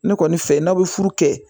Ne kɔni fɛ n'aw be furu kɛ